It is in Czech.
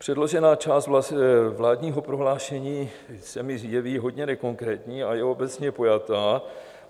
Předložená část vládního prohlášení se mi jeví hodně nekonkrétní a je obecně pojatá.